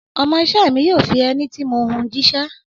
Ọmọ iṣẹ́ mi yóò fi ẹní tí mo hun jíṣẹ́.